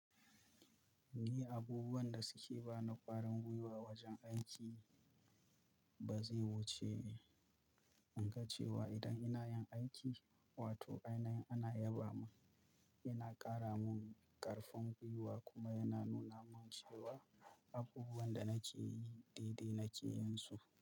Ni abubuwan da suke ba na ƙwarin gwiwa wajen aiki ba zai wuce in ga cewa idan ina yin aiki, wato ainan ana yaba mun, yana ƙara mun ƙarfin gwiwa kuma yana nuna mun cewa abubuwan da nake yi daidai nake yinsu.